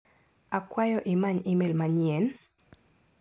Akwayo imany imel manyien?